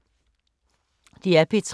DR P3